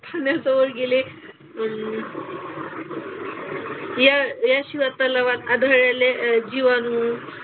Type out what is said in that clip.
पाण्याजवळ गेले. अन या याशिवाय तलावात आढळलेले जीवाणू,